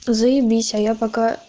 заебись а я пока